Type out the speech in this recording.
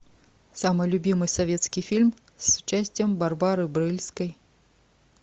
самый любимый советский фильм с участием барбары брыльской